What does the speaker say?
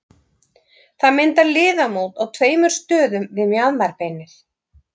Það myndar liðamót á tveimur stöðum við mjaðmarbeinið.